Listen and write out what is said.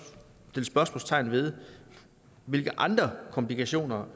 sætte spørgsmålstegn ved hvilke andre komplikationer